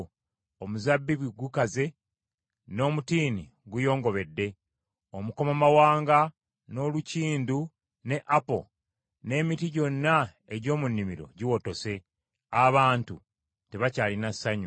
Omuzabbibu gukaze n’omutiini guyongobedde. Omukomamawanga, n’olukindu ne apo n’emiti gyonna egy’omu nnimiro giwotose. Abantu tebakyalina ssanyu.